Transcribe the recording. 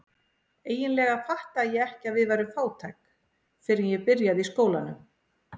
Eiginlega fattaði ég ekki að við værum fátæk fyrr en ég byrjaði í skólanum.